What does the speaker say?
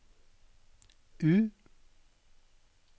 U